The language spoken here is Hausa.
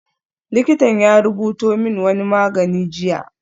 Likitan ya rubuto min wani magani jiya